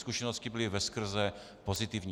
Zkušenosti byly veskrze pozitivní.